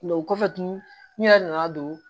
Nka o kɔfɛ tun n yɛrɛ nana don